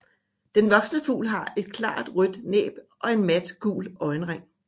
Den voksne fugl har et klart rødt næb og en mat gul øjenring